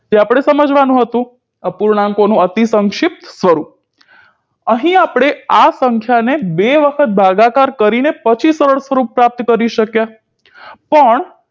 જે આપણે સમજવાનું હતું અપૂર્ણાંકોનું અતિસંક્ષિપ્ત સ્વરૂપ અહીં આપણે આ સંખ્યાને બે વખત ભાગાકાર કરીને પછી સરળ રૂપ પ્રાપ્ત કરી શક્યા પણ